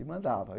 E mandava.